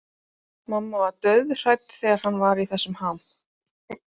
Mamma var dauðhrædd þegar hann var í þessum ham.